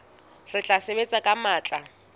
re tla sebetsa ka matla